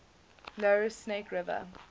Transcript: lower snake river